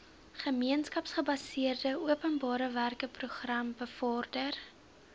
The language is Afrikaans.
gemeenskapsgebaseerde openbarewerkeprogram bevorder